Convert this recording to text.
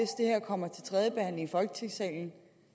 kommer til tredje behandling i folketingssalen